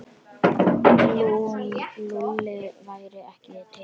Lúlli væri ekki til.